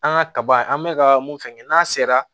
An ka kaba an bɛ ka mun fɛnkɛ n'a sera